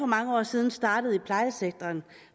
mange år siden startede i plejesektoren